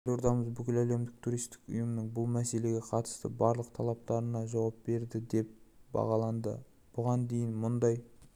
елордамыз бүкіләлемдік туристік ұйымның бұл мәселеге қатысты барлық талаптарына жауап береді деп бағаланды бұған дейін мұндай